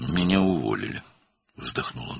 "Məni işdən çıxardılar," o ah çəkdi.